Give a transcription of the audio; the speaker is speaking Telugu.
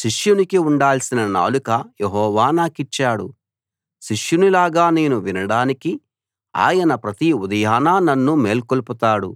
శిష్యునికి ఉండాల్సిన నాలుక యెహోవా నాకిచ్చాడు శిష్యునిలాగా నేను వినడానికి ఆయన ప్రతి ఉదయాన నన్ను మేల్కొలుపుతాడు